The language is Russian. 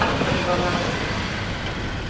привет глонассс